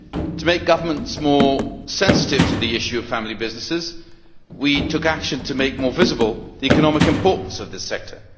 To make governments more sensitive to the issue of family businesses, we took action to make more visible the economic importance of the sector.